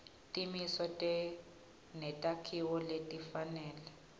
timiso netakhiwo letifanele